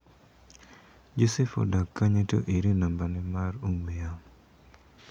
Joseph odak kanye to ere nambane mar ong'ue yamo.